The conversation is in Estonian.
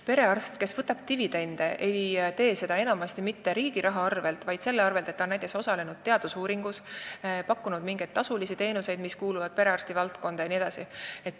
Perearst, kes võtab dividende, ei tee seda enamasti mitte riigi raha arvel, vaid näiteks selle arvel, et ta on osalenud teadusuuringus, pakkunud mingeid tasulisi teenuseid, mis kuuluvad perearsti valdkonda jne.